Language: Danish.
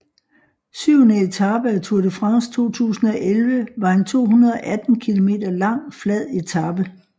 Syvende etape af Tour de France 2011 var en 218 km lang flad etape